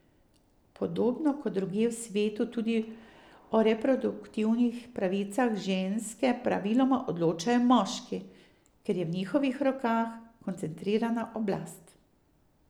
Podobno kot drugje v svetu tudi tu o reproduktivnih pravicah ženske praviloma odločajo moški, ker je v njihovih rokah koncentrirana oblast.